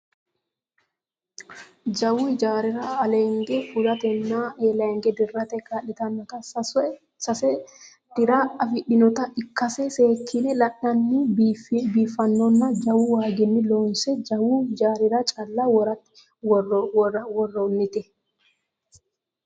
jawu ijaarira aleenge fulatenna eelaange dirrate kaa'litannota sase dira afidhinota ikkase seekkine la'nanni biiffannonna jawu waaginni looonse jawu hijaarira calla worrannite